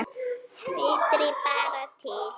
Vitiði bara til!